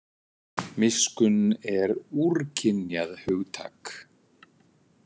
Miskunn er úrkynjað hugtak.